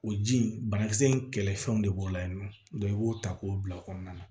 O ji in banakisɛ in kɛlɛfɛnw de b'o la yen nɔ i b'o ta k'o bila o kɔnɔna na